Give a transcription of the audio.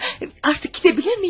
Artıq gedə bilirmiyim?